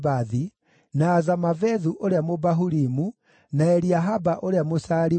na Azamavethu ũrĩa Mũbahurimu, na Eliahaba ũrĩa Mũshaaliboni,